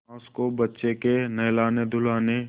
सास को बच्चे के नहलानेधुलाने